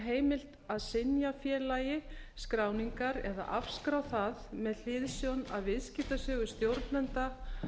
heimilt að synja félagi skráningar eða afskrá það með hliðsjón af viðskiptasögu stjórnenda